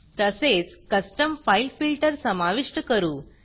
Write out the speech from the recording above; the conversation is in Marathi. तसेच कस्टम फाइल filterकस्टम फाइल फिल्टर समाविष्ट करू